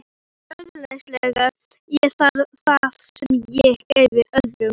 Þannig öðlaðist ég það sem ég gæfi öðrum.